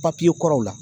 Papiye kɔrɔw la